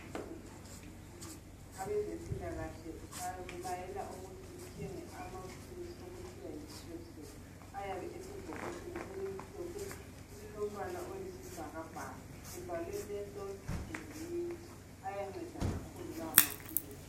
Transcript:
Abezempilakahle bakulayela ukuthi uthenge amaphilisi okuthiwa yi Strepsils ayabe esebhokisini elimhlophe elilombala oyisibhakabhaka ebhaliwe menthol and mint ayanceda kakhulu la maphilisi.